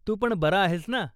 तू पण बरा आहेस ना.